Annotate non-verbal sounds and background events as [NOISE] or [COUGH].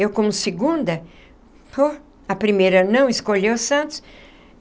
Eu, como segunda, [UNINTELLIGIBLE] a primeira não escolheu Santos.